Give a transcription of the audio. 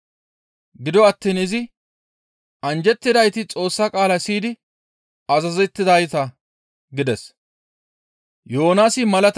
Gido attiin izi, «Anjjettidayti Xoossa qaala siyidi azazettizayta» gides.